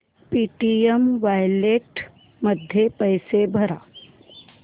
Paytm wallet मध्ये पैसे भर